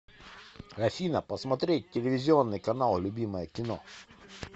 афина посмотреть телевизионный канал любимое кино